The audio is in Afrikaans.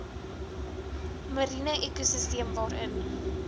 mariene ekosisteem waarin